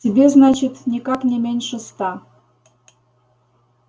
тебе значит никак не меньше ста